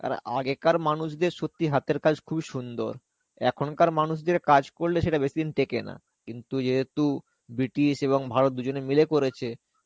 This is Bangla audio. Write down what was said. আর আগেকার মানুষদের সত্যি হাতের কাজ খুবই সুন্দর. এখনকার মানুষদের কাজ করলে সেটা বেশী দিন টেকে না. কিন্তু যেহেতু ব্রিটিশ এবং ভারত দুজনে মিলে করেছে,